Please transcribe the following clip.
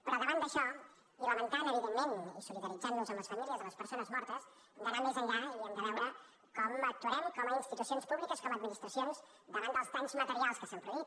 però davant d’això i lamentant evidentment i solidarit·zant·nos amb les famílies de les persones mortes hem d’anar més enllà i hem de veure com actuarem com a institucions públiques com a administracions davant dels danys materials que s’han produït